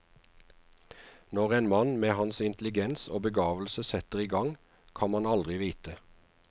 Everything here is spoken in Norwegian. Når en mann med hans intelligens og begavelse setter i gang, kan man aldri vite.